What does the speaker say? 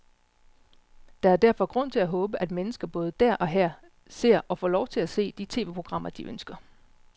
Der er derfor grund til at håbe, at mennesker både der og her ser, og får lov til at se, de tv-programmer, de ønsker.